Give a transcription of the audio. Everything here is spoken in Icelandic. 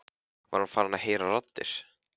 Var hann farinn að heyra raddir?